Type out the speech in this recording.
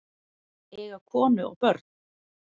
Eiga konu og börn?